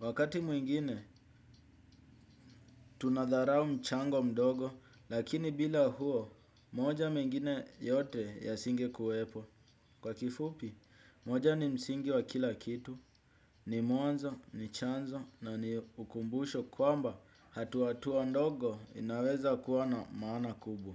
Wakati mwingine, tunadharau mchango mdogo, lakini bila huo, moja mengine yote yasinge kuwepo. Kwa kifupi, moja ni msingi wa kila kitu, ni mwanzo, ni chanzo, na ni ukumbusho kwamba hatua ndogo inaweza kuwa na maana kubwa.